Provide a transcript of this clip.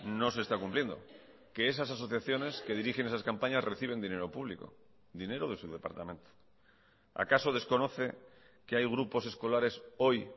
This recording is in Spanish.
no se está cumpliendo que esas asociaciones que dirigen esas campañas reciben dinero público dinero de su departamento acaso desconoce que hay grupos escolares hoy